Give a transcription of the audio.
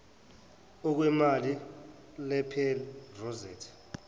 okwembali lapel rosette